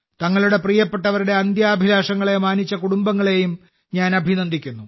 തങ്ങളുടെ പ്രിയപ്പെട്ടവരുടെ അന്ത്യാഭിലാഷങ്ങളെ മാനിച്ച കുടുംബങ്ങളെയും ഞാൻ അഭിനന്ദിക്കുന്നു